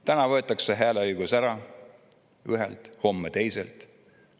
Täna võetakse hääleõigus ära ühelt, homme teiselt.